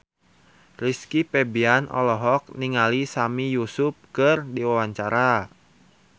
Rizky Febian olohok ningali Sami Yusuf keur diwawancara